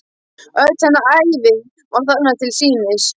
Öll hennar ævi var þarna til sýnis.